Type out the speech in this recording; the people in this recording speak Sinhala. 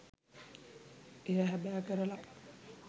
එය හැබෑ කරලා.